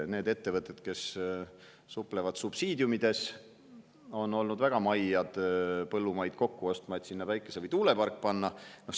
Need ettevõtted, kes suplevad subsiidiumides, on olnud väga maiad põllumaid kokku ostma, et sinna päikese‑ või tuulepark panna.